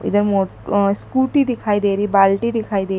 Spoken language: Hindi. इधर स्कूटी दिखाइ दे रही बाल्टी दिखाई दे--